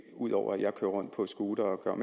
ud over at jeg kører rundt på scooter og gør